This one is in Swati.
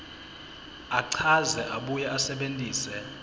achaze abuye asebentise